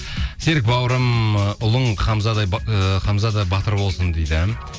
серік бауырым ы ұлың ы хамзада батыр болсын дейді